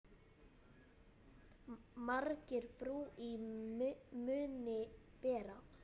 Margir brú í munni bera.